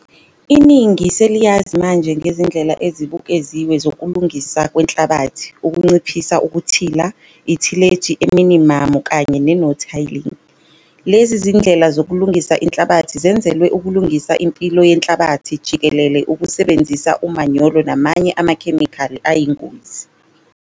Iningi seliyazi manje ngezindlela ezibukeziwe zokulungiswa kwenhlabathi - ukunciphisa ukuthila, ithileji eminimamu kanye ne-no-tiling. Lezi zindlela zokulungisa inhlabathi zenzelwe ukulungisa impilo yenhlabathi jikelele ukusebenzisa umanyolo namanye amakhemikhali ayingozi.